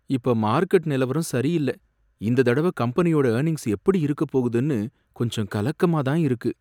இப்ப மார்க்கெட் நிலவரம் சரியில்ல, இந்த தடவ கம்பெனியோட எர்னிங்ஸ் எப்படி இருக்கப் போகுதுன்னு கொஞ்சம் கலக்கமா இருக்கு.